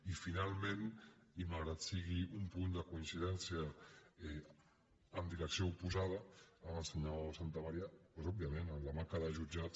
i finalment i malgrat que sigui un punt de coincidència en direcció oposada amb el senyor santamaría doncs òbviament la manca de jutjats